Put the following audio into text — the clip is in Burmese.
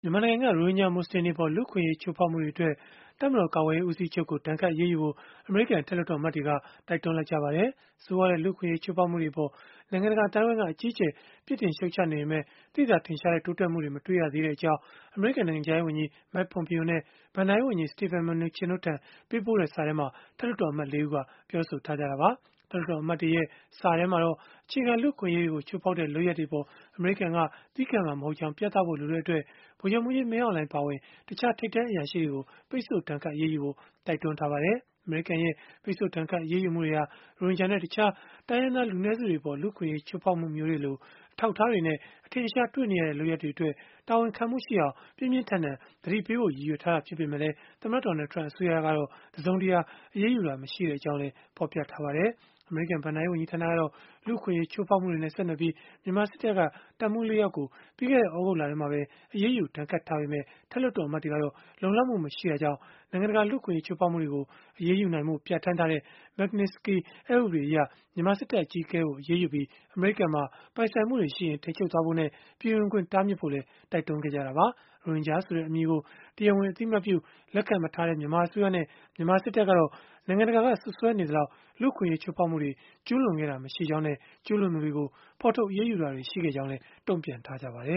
မြန်မာနိုင်ငံက ရိုဟင်ဂျာ မူဆလင်တွေအပေါ် လူ့အခွင့်အရေး ချိုးဖောက်မှုတွေအတွက် တပ်မတော်ကာကွယ်ရေး ဦးစီးချုပ်ကို ဒဏ်ခတ်အရေးယူဖို့ အမေရိကန် အထက်လွှတ်တော်အမတ်တွေက တိုက်တွန်းလိုက်ကြပါတယ်။ ဆိုးရွားတဲ့ လူ့အခွင့်အရေး ချိုးဖောက်မှုတွေအပေါ် နိုင်ငံတကာ အသိုင်းအဝန်းက အကြီးအကျယ် ပြစ်တင်ရှုတ်ချနေပေမဲ့ သိသာထင်ရှားတဲ့ တိုးတက်မှုတွေ မတွေ့ရတဲ့အကြောင်း အမေရိကန် နိုင်ငံခြားရေးဝန်ကြီး Mike Pompeo နဲ့ ဘဏ္ဍာရေးဝန်ကြီး Steven Mnuchin တို့ထံ ပေးပို့ခဲ့တဲ့ စာထဲမှာ အထက်လွှတ်တော်အမတ် ၄ ဦးက ပြောဆိုခဲ့ကြတာပါ။ အထက်လွှတ်တော်အမတ်တွေရဲ့ စာထဲမှာတော့ အခြေခံလူ့အခွင့်အရေးတွေကို ချိုးဖောက်တဲ့ လုပ်ရပ်တွေအပေါ် အမေရိကန်က သည်းခံမှာမဟုတ်ကြောင်း ပြသဖို့လိုတဲ့အတွက် ဗိုလ်ချုပ်မှူးကြီး မင်းအောင်လှိုင် အပါအဝင် တခြားထိပ်တန်း အရာရှိတွေကို ပိတ်ဆို့ဒဏ်ခတ် အရေးယူဖို့ တိုက်တွန်းထားပါတယ်။ အမေရိကန်ရဲ့ ပိတ်ဆို့ဒဏ်ခတ် အရေးယူမှုတွေဟာ ရိုဟင်ဂျာနဲ့ တခြားတိုင်းရင်းသား လူနည်းစုတွေအပေါ် လူ့အခွင့်အရေး ချိုးဖောက်မှုမျိုးတွေလို အထောက်အထားတွေနဲ့ အထင်အရှား တွေ့နေရတဲ့ လုပ်ရပ်တွေအတွက် တာဝန်ခံမှုရှိအောင် ပြင်းပြင်းထန်ထန် သတိပေးဖို့ ရည်ရွယ်ထားတာ ဖြစ်ပေမယ့် သမ္မတ Donald Trump အစိုးရကတော့တစုံတရာ အရေးယူတာ မရှိကြောင်းလည်း ဖော်ပြထားပါတယ်။ အမေရိကန် ဘဏ္ဍာရေး ဝန်ကြီးဌာနကတော့ လူ့အခွင့်အရေး ချိုးဖောက်မှုတွေနဲ့ ဆက်နွယ်ပြီး မြန်မာစစ်တပ်က တပ်မှူး ၄ ယောက်ကို ပြီးခဲ့တဲ့ သြဂုတ်လထဲမှာပဲ အရေးယူဒဏ်ခတ်ထားပေမယ့် အထက်လွှတ်တော် အမတ်တွေကတော့ လုံလောက်မှု မရှိတာကြောင့်၊ နိုင်ငံတကာက လူ့အခွင့်အရေး ချိုးဖောက်မှုတွေကို အရေးယူနိုင်ဖို့ ပြဌာန်းထားတဲ့ Magnitsky အက်ဥပဒေအရ မြန်မာစစ်တပ်အကြီးအကဲကို အရေးယူပြီး၊ အမေရိကန်မှာ ပိုင်ဆိုင်မှုတွေရှိရင် ထိန်းချုပ်ဖို့နဲ့ ပြည်ဝင်ခွင့်တားမြစ်ဖို့လည်း တိုက်တွန်းခဲ့တာပါ။ ရိုဟင်ဂျာဆိုတဲ့ အမည်ကို တရားဝင် အသိအမှတ်ပြု လက်ခံမထားတဲ့ မြန်မာအစိုးရနဲ့ မြန်မာစစ်တပ်ကတော့ နိုင်ငံတကာက စွပ်စွဲနေသလောက် လူ့အခွင့်အရေး ချိုးဖောက်မှုတွေ ကျုးလွန်ခဲ့တာ မရှိကြောင်းနဲ့ ကျုးလွန်သူတွေကို ဖော်ထုတ် အရေးယူတာတွေ ရှိခဲ့ကြောင်းလည်း တုံ့ပြန်ထားကြပါတယ